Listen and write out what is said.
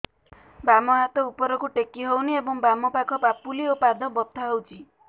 ବାମ ହାତ ଉପରକୁ ଟେକି ହଉନି ଏବଂ ବାମ ପାଖ ପାପୁଲି ଓ ପାଦ ବଥା ହଉଚି